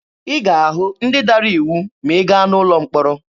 Ị ga-ahụ ndị dara iwu ma ị gaa n'ụlọ mkpọrọ.